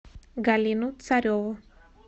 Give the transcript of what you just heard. галину цареву